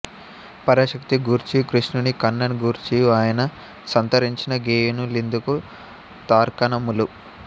పరాశాక్తి గూర్చియు కృష్ణుని కణ్ణన్ గూర్చియు ఆయన సంతరించిన గేయము లిందుకు తార్కాణములు